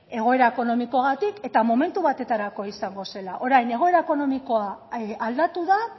ez egoera ekonomikoagatik eta momentu batetarako izango zela orain egoera ekonomikoa aldatu da